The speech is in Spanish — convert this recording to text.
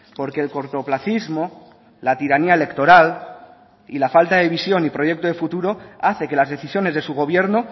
porque el cortoplacismo la tiranía electoral y la falta de visión y proyecto de futuro hace que las decisiones de su gobierno